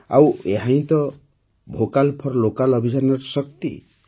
ଆଉ ଏହାହିଁ ତ ହେଉଛି ଭୋକାଲ୍ ଫର୍ ଲୋକାଲ୍ ଅଭିଯାନର ଶକ୍ତି